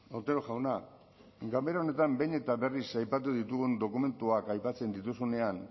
otero jauna ganbera honetan behin eta berriz aipatu ditugun dokumentuak aipatzen dituzunean